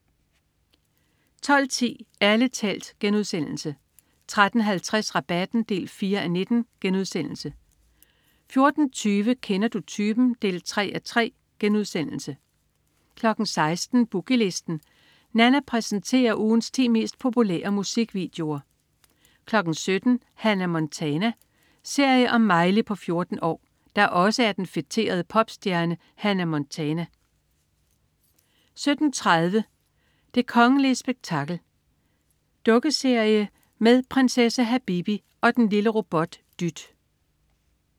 12.10 Ærlig talt* 13.50 Rabatten 4:19* 14.20 Kender du typen? 3:3* 16.00 Boogie Listen. Nanna præsenterer ugens ti mest populære musikvideoer 17.00 Hannah Montana. Serie om Miley på 14 år, der også er den feterede popstjerne Hannah Montana 17.30 Det kongelige spektakel. Dukkeserie med prinsesse Habibi og og den lille robot Dyt